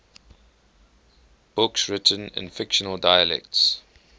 books written in fictional dialects